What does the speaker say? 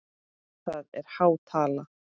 Það er há tala?